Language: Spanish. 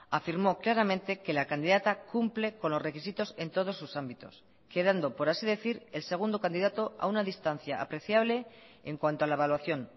afirmó claramente que la candidata cumple con los requisitos en todos sus ámbitos quedando por así decir el segundo candidato a una distancia apreciable en cuanto a la evaluación